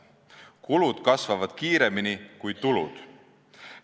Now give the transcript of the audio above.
Kulud kasvavad kiiremini kui tulud.